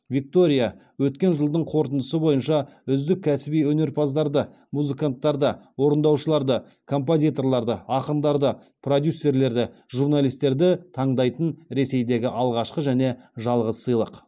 виктория өткен жылдың қорытындысы бойынша үздік кәсіби өнерпаздарды музыканттарды орындаушыларды композиторларды ақындарды продюсерлерді журналистерді таңдайтын ресейдегі алғашқы және жалғыз сыйлық